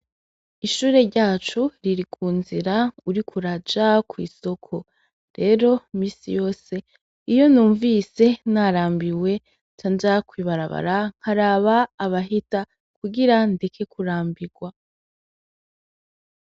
Ishure ryacu riri ku nzira uriko uraja kw'isoko, rero imisi yose iyo numvise narambiwe canja kw'ibarabara nkaraba abahita kugira ndeke kurambirwa.